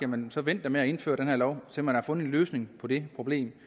man da vente med at indføre den her lov til man har fundet en løsning på det problem